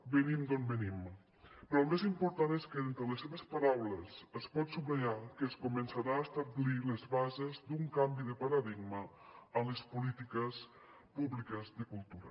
venim d’on venim però el més important és que d’entre les seves paraules es pot subratllar que es començaran a establir les bases d’un canvi de paradigma en les polítiques públiques de cultura